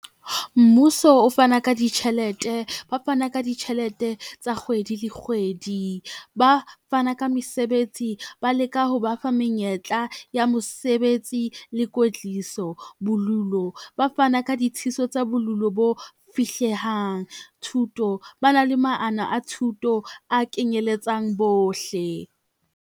Mmuso o fana ka ditjhelete, ba fana ka ditjhelete tsa kgwedi le kgwedi. Ba fana ka mesebetsi ba leka ho ba fa menyetla ya mosebetsi le kwetliso. Bolulo ba fana ka ditshitiso tsa bolulo bo fihlehang. Thuto ba na le mono a thuto a kenyeletsang bohle.